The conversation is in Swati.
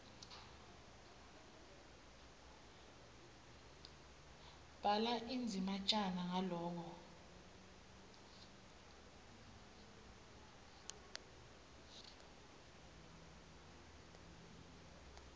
bhala indzatjana ngaloko